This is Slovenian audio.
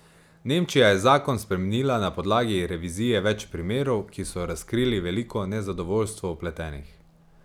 Nemčija je zakon spremenila na podlagi revizije več primerov, ki so razkrili veliko nezadovoljstvo vpletenih.